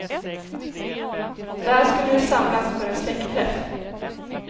Där skulle de samlas för en släktträff.